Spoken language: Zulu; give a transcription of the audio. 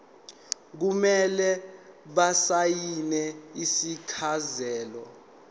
kumele basayine isifakazelo